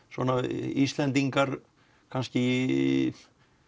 Íslendingar kannski